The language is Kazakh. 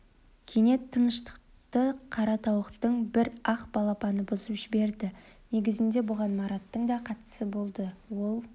кенет тыныштықты қара тауықтың бір ақ балапаны бұзып жіберді негізінде бұған мараттың да қатысы болды ол